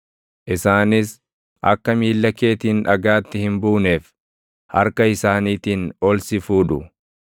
isaanis akka miilla keetiin dhagaatti hin buuneef harka isaaniitiin ol si fuudhu.